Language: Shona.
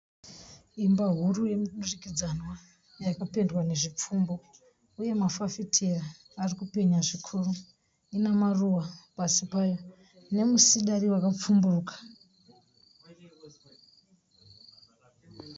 Imba huru yemudurukidzanwa yakapendwa nezvipfumbu uye mafafitera ari kupenya zvikuru ina maruva pasi payo nemusidari wakapfumburuka.